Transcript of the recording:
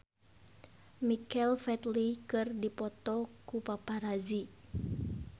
Michael Flatley dipoto ku paparazi